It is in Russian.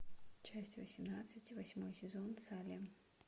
часть восемнадцать восьмой сезон салем